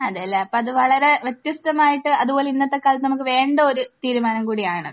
അതെയല്ലേ. അപ്പോൾ അത് വളരെ വ്യത്യസ്തമായിട്ട് അതുപോലെ ഇന്നത്തെ കാലത്ത് നമുക്ക് വേണ്ട ഒരു തീരുമാനം കൂടിയാണ്.